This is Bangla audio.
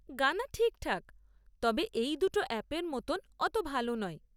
গানা ঠিকঠাক, তবে এই দুটো অ্যাপের মতন অত ভালো নয়।